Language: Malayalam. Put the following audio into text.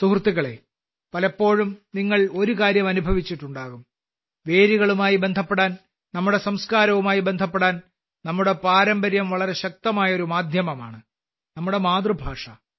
സുഹൃത്തുക്കളേ പലപ്പോഴും നിങ്ങൾ ഒരുകാര്യം അനുഭവിച്ചിട്ടുണ്ടാകും വേരുകളുമായി ബന്ധപ്പെടാൻ നമ്മുടെ സംസ്കാരവുമായി ബന്ധപ്പെടാൻ നമ്മുടെ പാരമ്പര്യം വളരെ ശക്തമായ ഒരു മാധ്യമമാണ് നമ്മുടെ മാതൃഭാഷ